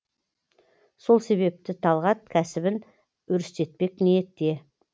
сол себепті талғат кәсібін өрістетпек ниетте